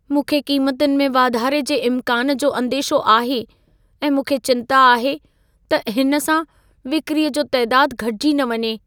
मूंखे क़ीमतुनि में वाधारे जे इमकान जो अंदेशो आहे ऐं मूंखे चिंता आहे त हिन सां विक्रीअ जो तइदादु घटिजी न वञे।